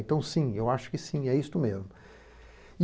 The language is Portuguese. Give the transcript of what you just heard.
Então sim, eu acho que sim, é isso mesmo.